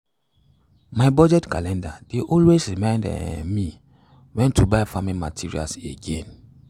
my budget calendar dey always remind um me when to buy farming materials again.